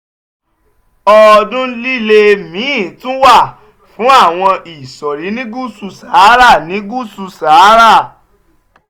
ọdún líle míì tún wà fún àwọn ìsọ̀rí ní gúúsù sahara ní gúúsù sahara